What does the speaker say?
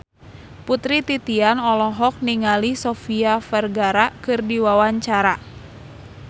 Putri Titian olohok ningali Sofia Vergara keur diwawancara